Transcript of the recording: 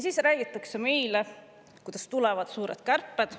Siis räägitakse meile, kuidas tulevad suured kärped.